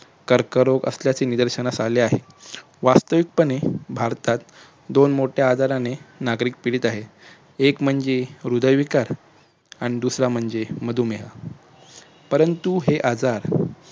कर्करोग असल्याचे निदर्शनास आले आहे. वास्तविक पने भारतात दोन मोठ्या आजाराने नागरिक पीडित आहेत. एक म्हणजे हृदय विकार आणि दुसरा म्हणजे मधुमेह परंतु हे आजार